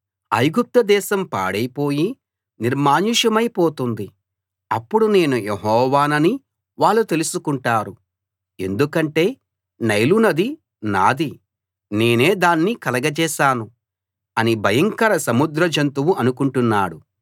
ఐగుప్తుదేశం పాడైపోయి నిర్మానుష్యమై పోతుంది అప్పుడు నేను యెహోవానని వాళ్ళు తెలుసుకుంటారు ఎందుకంటే నైలు నది నాది నేనే దాన్ని కలగచేశాను అని భయంకర సముద్ర జంతువు అనుకుంటున్నాడు